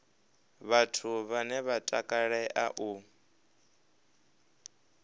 vhathu vhane vha takalea u